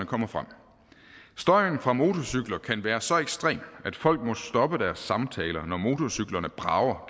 kommer frem støjen fra motorcykler kan være så ekstrem at folk må stoppe deres samtaler når motorcyklerne brager